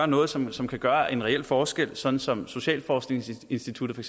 noget som som kan gøre en reel forskel sådan som socialforskningsinstituttet for